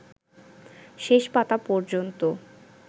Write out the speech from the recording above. শেষ পাতা পর্যন্ত